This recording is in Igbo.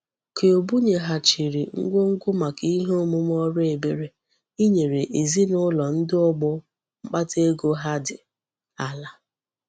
Q bunyeghachiri ngwongwo maka ihe omume órú ebere inyere ezina ulo ndi ogbo mkpata ego ha di ala.